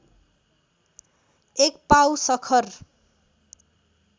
एक पाउ सखर